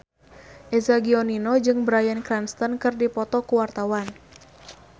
Eza Gionino jeung Bryan Cranston keur dipoto ku wartawan